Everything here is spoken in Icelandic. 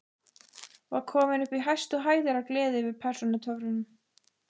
Var kominn upp í hæstu hæðir af gleði yfir persónutöfrunum.